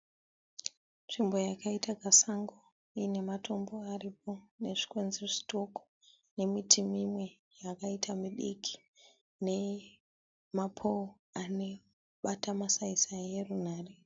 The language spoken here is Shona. Nzvimbo yakaita kasango iine mstombo aripo nezvikwenzi zvitoko nemiti imwe yakaita midiki ne mapouro anobara masaisai erunhare.